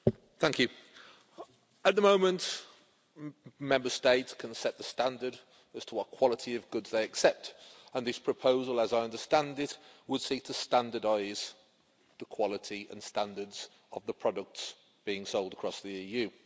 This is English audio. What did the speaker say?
Madam President, at the moment Member States can set the standard as to what quality of goods they accept, and this proposal as I understand it would seek to standardise the quality and standards of the products being sold across the EU.